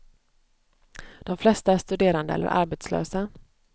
De flesta är studerande eller arbetslösa.